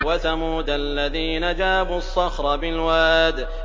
وَثَمُودَ الَّذِينَ جَابُوا الصَّخْرَ بِالْوَادِ